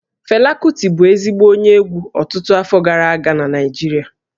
Fela Kuti bụ ezigbo onye egwú ọtụtụ afọ gara aga na Naịjirịa